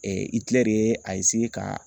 ka